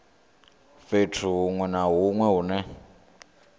fhethu hunwe na hunwe hune